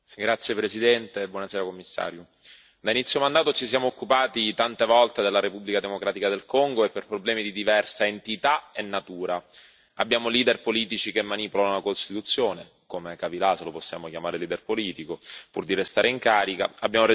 Signor Presidente, onorevoli colleghi, signor Commissario, da inizio mandato ci siamo occupati tante volte della Repubblica democratica del Congo e per problemi di diversa entità e natura. Abbiamo leader politici che manipolano la Costituzione come è capitato, lo possiamo chiamare leader politico pur di restare in carica.